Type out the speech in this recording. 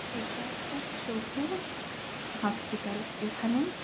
এটা একটা চোখের হসপিটাল এখানে--